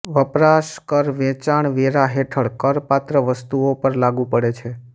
વપરાશ કર વેચાણવેરા હેઠળ કરપાત્ર વસ્તુઓ પર લાગુ પડે છે